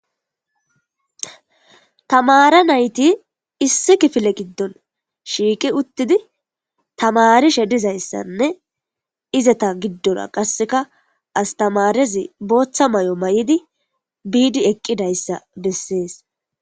Tamare nayti issi kifile gidon shiqi utidi tamarishe dizaysane ezeta gidora qaseka astamarezi boththa mayo mayidi bidi eqidayisa beses.